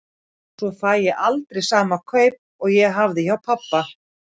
Svo fæ ég aldrei sama kaup og ég hafði hjá pabba.